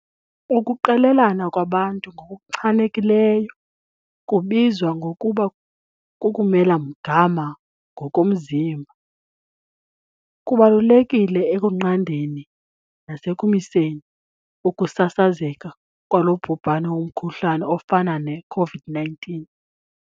Ukuqelelana kwabantu, ngokuchanekileyo kubizwa ngokuba kukumela mgama ngokomzimba, kubalulekile ekunqandeni nasekumiseni ukusasazeka kwalo bhubhane womkhuhlane ofana ne-COVID-19.